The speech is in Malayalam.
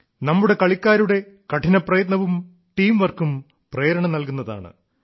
നമ്മുടെ കളിക്കാരുടെ കഠിനപ്രയത്നവും ടീം വർക്കും പ്രേരണ നൽകുന്നതാണ്